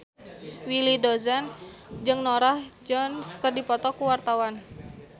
Willy Dozan jeung Norah Jones keur dipoto ku wartawan